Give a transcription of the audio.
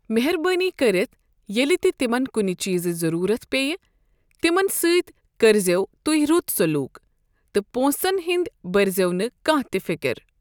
مہربٲنی کٔرِتھ ییٚلہِ تہِ تمن کُنہِ چیٖزٕچ ضرورت پیٚیہِ تِمَن سۭتۍ کٔرۍ زیو تہۍ رت سلوٗک تہٕ پۄنٛسَن ہنٛد بٔرۍ زیو نہٕ کانٛہہ تہِ فِکر۔